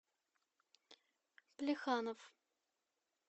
плеханов